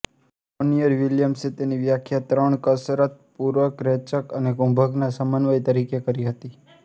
Monier વિલિયમ્સે તેની વ્યાખ્યા ત્રણ કસરત પૂરકરેચક અને કુંભકના સમન્વય તરીકે કરી હતી